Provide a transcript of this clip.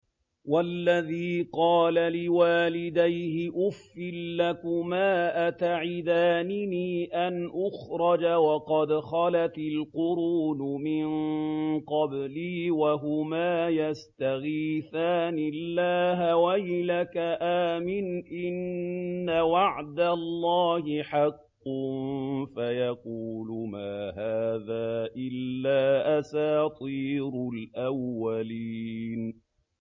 وَالَّذِي قَالَ لِوَالِدَيْهِ أُفٍّ لَّكُمَا أَتَعِدَانِنِي أَنْ أُخْرَجَ وَقَدْ خَلَتِ الْقُرُونُ مِن قَبْلِي وَهُمَا يَسْتَغِيثَانِ اللَّهَ وَيْلَكَ آمِنْ إِنَّ وَعْدَ اللَّهِ حَقٌّ فَيَقُولُ مَا هَٰذَا إِلَّا أَسَاطِيرُ الْأَوَّلِينَ